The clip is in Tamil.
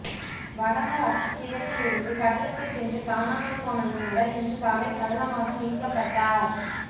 வடமராட்சி கிழக்கிலிருந்து கடலுக்குச் சென்று காணாமல் போன மீனவர் இன்று காலை சடலமாக மீட்கப்பட்டார்